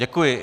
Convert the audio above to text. Děkuji.